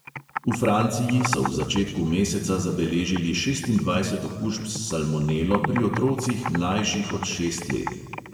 V franciji so v začetku meseca zabeležili šestindvajset okužb s salmonelo pri otrocih, mlajših od šest let.